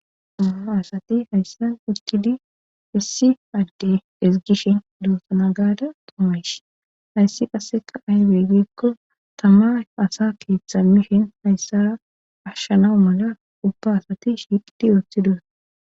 Uma asati hayssa utkidi issi adde esigishin dootana gaada tomaysh hayssi qasseka ahybeeggikko tama asa keeththamishin hayssara ashshanau mala ubba asati shiiti ooththidus.